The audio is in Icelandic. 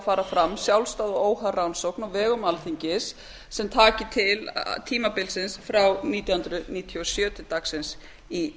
fara fram sjálfstæð og óháð rannsókn á vegum alþingis sem taki til tímabilsins frá nítján hundruð níutíu og sjö til dagsins í